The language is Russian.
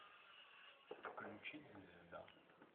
включить звезда